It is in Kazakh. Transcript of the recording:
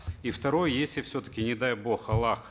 и второе если все таки не дай бог аллах